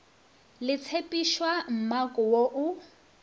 le tshephišwa mmako wo o